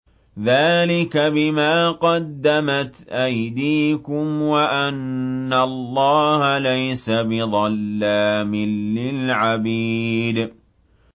ذَٰلِكَ بِمَا قَدَّمَتْ أَيْدِيكُمْ وَأَنَّ اللَّهَ لَيْسَ بِظَلَّامٍ لِّلْعَبِيدِ